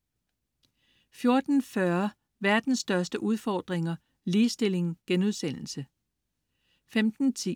14.40 Verdens Største Udfordringer. Ligestilling* 15.10